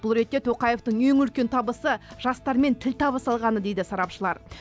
бұл ретте тоқаевтың ең үлкен табысы жастармен тіл табыса алғаны дейді сарапшылар